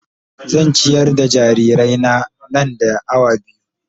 Zan ciyar da jarirai na, nan da awa biyu.